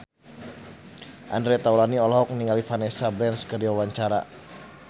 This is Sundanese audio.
Andre Taulany olohok ningali Vanessa Branch keur diwawancara